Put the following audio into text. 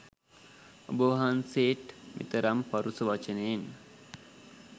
ඔබ වහන්සේට් මෙතරම් පරුෂ වචනයෙන්